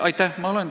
Aitäh!